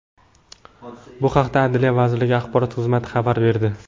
Bu haqda Adliya vazirligi axborot xizmati xabar berdi .